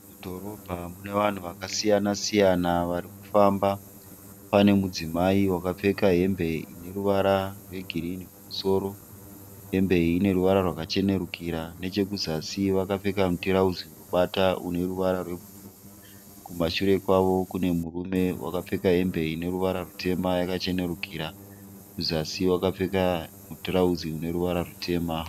Mudhorobha mune vanhu vakasiya siyana varikufamba. Pane mudzimai wakapfeka hembe ineruvara rwegirinhi kumusoro. Hembe iyi ineruvara rwakachenerukira. Nechemuzasi vakapfeka mutarauzi unobata uneruvara rwebhuruwu. Kumashure kwavo kune murume wakapfeka hembe ineruvara rwutema yakachenerukira, kuzasi wakapfeka mutirauzi ineruvara rwutema.